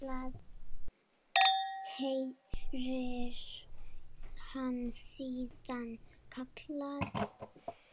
heyrir hann síðan kallað.